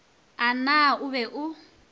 a na o be o